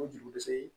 O juru se